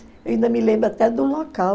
Eu ainda me lembro até do local.